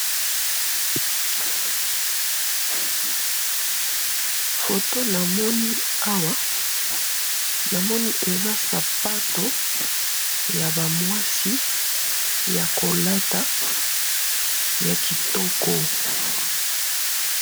Photo na moni awa eza sapatu yaba mwasi ya kolata ya kitoka